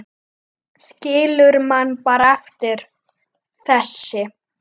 Skilur mann bara eftir, þessi.